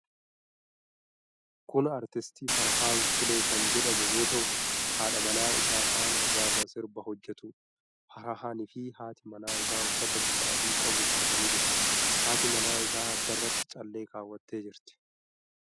Kun artist Farahaan Sulee kan jedhamu yoo ta'u haadha manaa isaa faana gaafa sirba hojjatuudha. Farahaani fi haati manaa isaa uffata bifa adii qabu uffatanii jiru. Haati manaa isaa addarratti callee kaawwattee jirti.